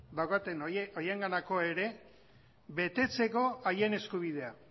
daukaten horienganako ere betetzeko haien eskubidea